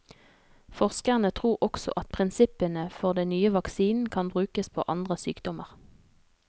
Forskerne tror også at prinsippene for den nye vaksinen kan brukes på andre sykdommer.